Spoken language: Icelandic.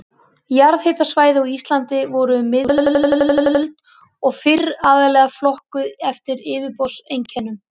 Jarðhitasvæði á Íslandi voru um miðja tuttugustu öld og fyrr aðallega flokkuð eftir yfirborðseinkennum.